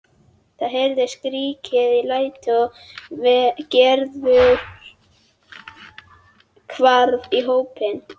Það heyrðust skrækir og læti og Gerður hvarf í hópinn.